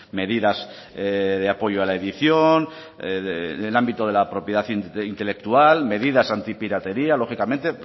medidas de apoyo a la edición en el ámbito de la propiedad intelectual medidas antipiratería lógicamente